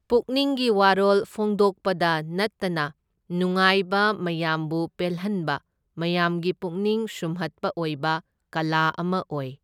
ꯄꯨꯛꯅꯤꯡꯒꯤ ꯋꯥꯔꯣꯜ ꯐꯣꯡꯗꯣꯛꯄꯗ ꯅꯠꯇꯅ ꯅꯨꯡꯉꯥꯏꯕ ꯃꯌꯥꯝꯕꯨ ꯄꯦꯜꯍꯟꯕ ꯃꯌꯥꯝꯒꯤ ꯄꯨꯛꯅꯤꯡ ꯁꯨꯝꯍꯠꯄ ꯑꯣꯏꯕ ꯀꯂꯥ ꯑꯃ ꯑꯣꯏ꯫